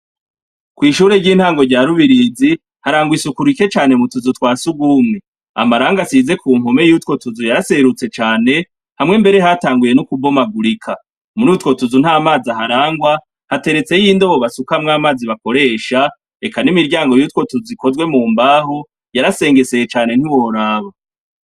Kw'ishure ry'i ntango rya Rubirizi harangwa isuku rike cane mu tuzi twa sugumwe, amarangi asize ku mpome yutwo tuzu yaraserutse cane, hamwe mbere hatanguye no kubomagurika, murutwo tuzu nt'amazi aharangwa hateretseyo indobo y'amazi bakoresha, eka n'imiryango yutwo tuzu ikozwe mu mbaho yarasengeseye cane ntiworaba.